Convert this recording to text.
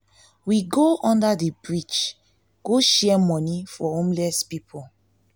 we go we go under the bridge go share money to homeless people